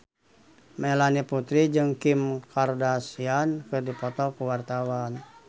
Melanie Putri jeung Kim Kardashian keur dipoto ku wartawan